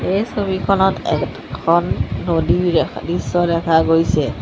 এই ছবিখনত এখন নদীৰ দৃশ্য দেখা গৈছে।